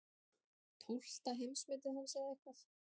Tólfta heimsmetið hans eða eitthvað.